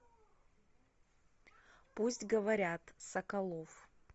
пусть говорят соколов